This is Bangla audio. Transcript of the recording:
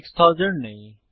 6000 নেই